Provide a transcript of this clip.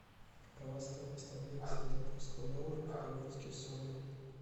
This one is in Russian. какова стоимость обмена сингапурского доллара в перуанские соли